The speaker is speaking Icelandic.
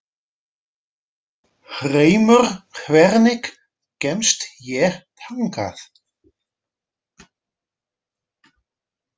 Hreimur, hvernig kemst ég þangað?